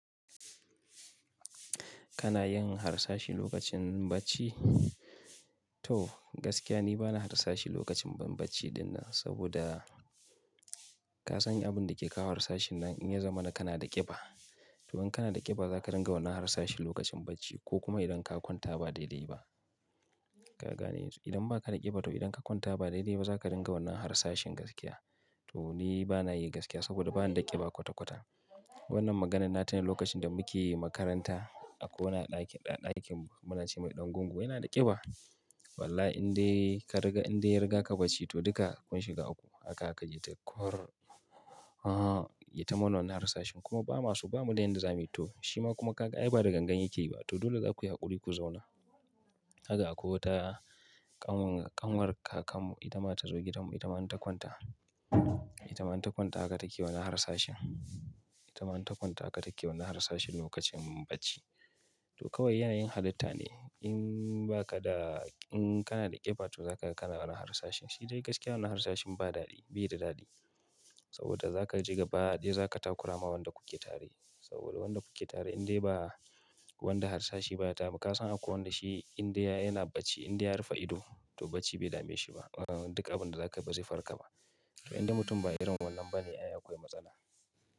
Kana yin harsashi lokacin bacci? To gaskiya ni bana harsashi lokacin bacci dinnan saboda ka san abin da ke kawo harsashin nan in ya zama na kana da ƙiba. To in kana da ƙiba zaka dinga wannan harsashin lokacin bacci ko kuma idan ka kwanta ba daidai ba. Ka gane yanzu? Idan ba ka da ƙiba to idan ka kwanta ba daidai ba za ka dinga wannan harsashin gaskiya. To ni bana yi gaskiya saboda ba na da ƙiba kwata-kwata. Wannan maganan na tuna lokacin da muke makaranta, akwai wani a ɗakin, a ɗakin mu muna ce mai ɗan gungu yana da ƙiba. Wallahi indai ka riga indai ya riga ka bacci to duka kun shiga uku haka zaka jita "kur'. Ahhh yayita mana wannan harsashin kuma bamaso ba mu da yadda zamuyi to shi ma kuma ka ga ai ba da gangan yake yi ba to dole za ku yi haƙuri ku zauna. Haka akwai wata ƙanwar kakan mu itama ta zo gidan mu itama in ta kwanta, itama in ta kwanta haka take wannan harsashin, itama in ta kwanta haka take wannan harsashin lokacin bacci. To kawai yanayin halitta ne in ba ka da in kana da ƙiba to za ka kana wannan harsashin. Shi dai gaskiya wannan harsashin ba daɗi, bai da daɗi saboda za ka ji gabaɗaya, za ka takurama wanda kuke tare saboda wanda kuke tare indai ba wanda harsashi ba ya dami. Ka san akwai wanda shi inda yana bacci inde ya rufe ido to bacci bai dame shi ba. Duk abin da za ka yi bazai farka ba. To inde mutum ba irin wannan bane ayi akwai matsala.